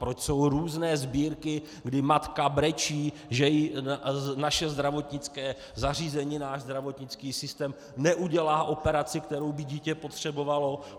Proč jsou různé sbírky, kdy matka brečí, že jí naše zdravotnické zařízení, náš zdravotnický systém neudělá operaci, kterou by dítě potřebovalo?